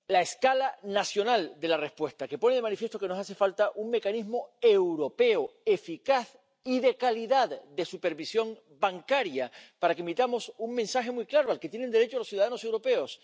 escala nacional de la respuesta, que ponen de manifiesto que nos hace falta un mecanismo europeo, eficaz y de calidad, de supervisión bancaria para que emitamos un mensaje muy claro al que tienen derecho los ciudadanos europeos.